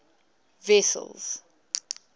wessels